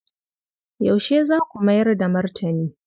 Yaushe za ku mayar da martani?